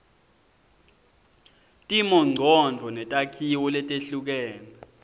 timongcondvo netakhiwo letehlukene